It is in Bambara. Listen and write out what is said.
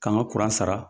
K'an ka kuran sara